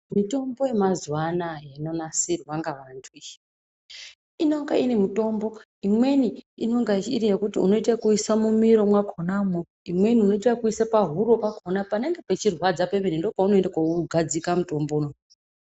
Mitombo yemazuvaanaya inonasirwa ngavantu iyi inenge ine mitombo imweni unonga iri yekuti unoisa mumiro mwakhonamwo imweni unoisa pahuro pakhona panenge pechirwadza pemene ndopaunogadzika mutombo unou.